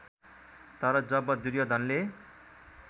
तर जब दुर्योधनले